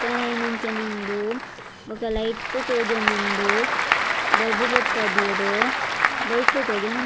ಕತ್ತಲೆ ಆಯಿನಂಚಿನ ಉಂಡು ಬೊಕ ಲೈಟ್ ತೋಜೊಂದುಂಡು ಬೊಲ್ಪು ಪೊತ್ತದೆರ್ ದೈಕ್ಲ್ ತೋಜೊಂದುಂ --